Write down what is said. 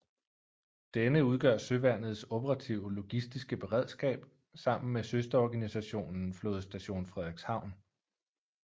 Denne udgør Søværnets operative logistiske beredskab sammen med søsterorganisationen Flådestation Frederikshavn